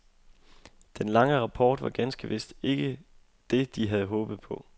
Den lange rapport var ganske vist ikke det de havde håbet på.